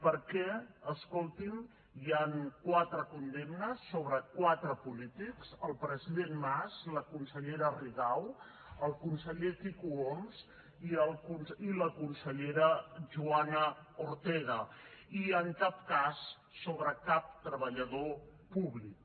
perquè escoltin hi han quatre condemnes sobre quatre polítics el president mas la consellera rigau el conseller quico homs i la consellera joana ortega i en cap cas sobre cap treballador públic